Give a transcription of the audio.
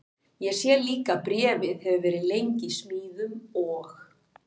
Ég sé líka að bréfið hefur verið lengi í smíðum og